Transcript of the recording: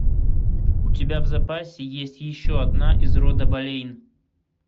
у тебя в запасе есть еще одна из рода болейн